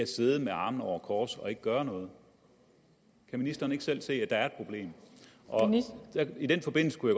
sidder med armene over kors uden at gøre noget kan ministeren ikke selv se at der er et problem i den forbindelse kunne